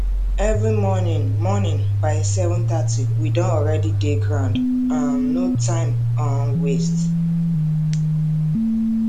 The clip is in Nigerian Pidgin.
every morning morning by 730 we don already dey ground um no time um waste